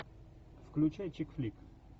включай чик флик